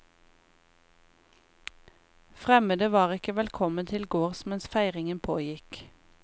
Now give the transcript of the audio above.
Fremmede var ikke velkommen til gårds mens feiringen pågikk.